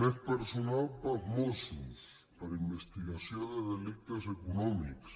més personal per als mossos per a investigació de delictes econòmics